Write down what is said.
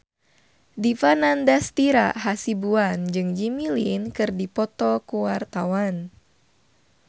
Dipa Nandastyra Hasibuan jeung Jimmy Lin keur dipoto ku wartawan